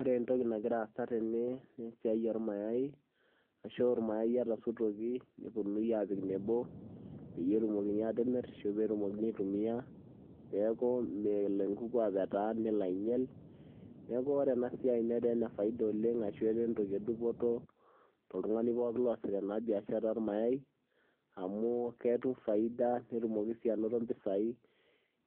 Ore entoki nagira aasa tene naa esiai ormayai ashu irmayai etasotuoki neponuni apik enebo peyie etumokini atimir ashu petumokini aitumia peku melo enkuku apetaa nelo ainyial , neku ore enasiai netaa enefaida oleng ashu netaa entoki edupoto toltungani pookin osiita biashara ormayai amu ketum faida netumoki sii anoto mpisai